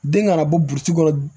Den kana bɔ burusi kɔnɔ